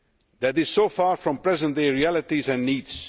That is so far from present day realities and needs.